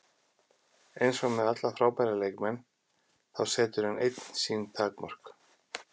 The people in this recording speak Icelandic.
Eins og með alla frábæra leikmenn, þá setur hann einn sín takmörk.